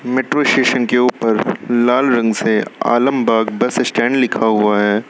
Metro station के ऊपर लाल रंग से आलमबाग बस स्टैंड लिखा हुआ है।